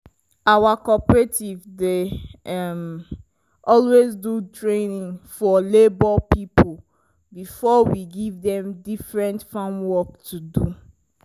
our cooperative dey um always do training for labor people before we give dem different farm work to do.